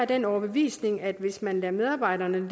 den overbevisning at hvis man lader medarbejderne